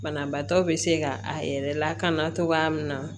Banabaatɔ be se ka a yɛrɛ lakana cogoya min na